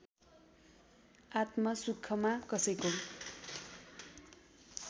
आत्मा सुखमा कसैको